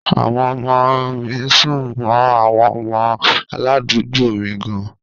Àwọn ọmọ mi sún mọ́ àwọn ọmọ aládùúgbò mi gan-an.